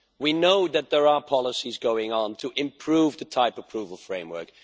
We know that there are policies going on to improve the type approval framework